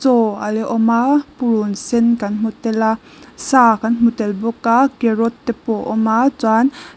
chaw ala awm a purun sen kan hmu tel a sâ kan hmu tel bawk a carrot te pawh a awma chuan --